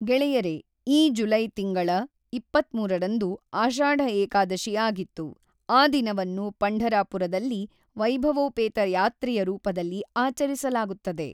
ಗೆಳೆಯರೇ, ಈ ಜುಲೈ ತಿಂಗಳ ಇಪ್ಪತ್ತ್ಮೂರ ರಂದು ಆಷಾಢ ಏಕಾದಶಿ ಆಗಿತ್ತು, ಆ ದಿನವನ್ನು ಪಂಢರಾಪುರದಲ್ಲಿ ವೈಭವೋಪೇತ ಯಾತ್ರೆಯ ರೂಪದಲ್ಲಿ ಆಚರಿಸಲಾಗುತ್ತದೆ.